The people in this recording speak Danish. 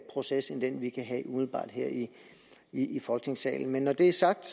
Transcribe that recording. proces end den vi kan have umiddelbart her i i folketingssalen men når det er sagt